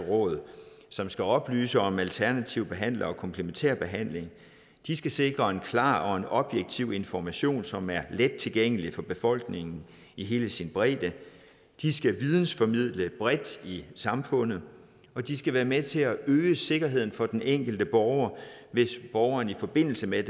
råd som skal oplyse om alternative behandlere og komplementær behandling de skal sikre en klar og en objektiv information som er let tilgængelig for befolkningen i hele sin bredde de skal vidensformidle bredt i samfundet de skal være med til at øge sikkerheden for den enkelte borger hvis borgeren i forbindelse med